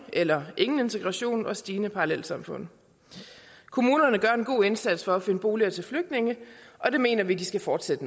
eller ingen integration og stigende parallelsamfund kommunerne gør en god indsats for at finde boliger til flygtninge og det mener vi de skal fortsætte